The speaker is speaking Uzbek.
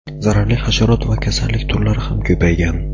Zararli hasharot va kasallik turlari ham ko‘paygan.